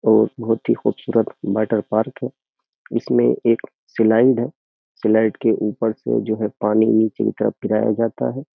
और बहुत ही खूबसूरत वाटर पार्क है इसमें एक स्लाइड है सलाइड के ऊपर से जो है पानी नीचे की तरफ गिराया जाता है।